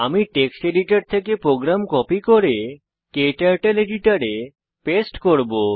আমি text editor থেকে program copy করে ক্টার্টল এডিটরে পেস্ট করব